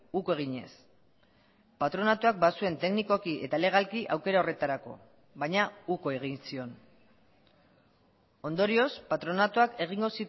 uko eginez patronatuak bazuen teknikoki eta legalki aukera horretarako baina uko egin zion ondorioz patronatuak egingo